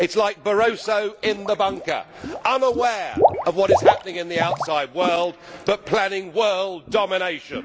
It is like Barroso in the bunker, unaware of what is happening in the outside world, but planning world domination.